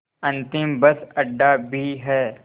अंतिम बस अड्डा भी है